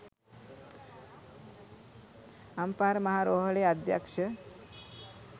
අම්පාර මහා රෝහලේ අධ්‍යක්ෂ